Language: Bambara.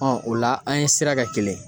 o la an ye sira kɛ kelen ye.